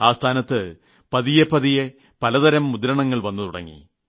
ആ സ്ഥാനത്ത് പതിയെ പതിയെ പലതരം മുദ്രണങ്ങൾ വന്നുതുടങ്ങി